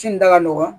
Ci da ka nɔgɔn